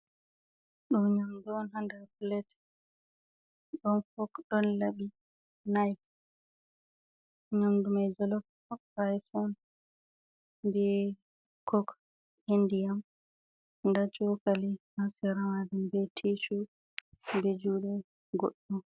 Ɗoo nyaamdu on ha nder "pilet", ɗon "fok" ɗon laɓi "nife" nyaamdu may "jolofraayis" on bee "kok" e ndiyam ndaa cookali ha sera maajum bee "tiicu" bee juude goɗɗo.